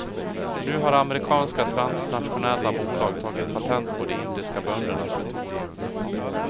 Nu har amerikanska transnationella bolag tagit patent på de indiska böndernas metoder.